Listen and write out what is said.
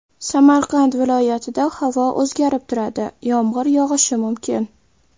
Samarqand viloyatida havo o‘zgarib turadi, yomg‘ir yog‘ishi mumkin.